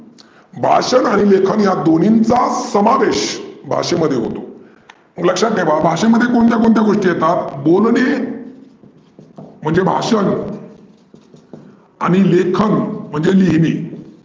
भाषन आणि लिहीनं या दोन्हींचा समावेश भाषेमध्ये होतो. लक्षात ठेवा भाषेमध्ये कोणत्या कोणत्या गोष्टी येतात? बोलने म्हणजे भाषन आणि लेखन म्हणजे लिहीने.